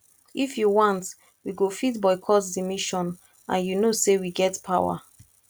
if you want we go fit boycott the mission and you know say we get power